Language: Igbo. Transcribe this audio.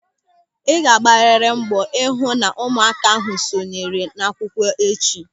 Ị ga-agbarịrị mbọ ịhụ na ụmụaka ahụ sonyere akụkọ echi.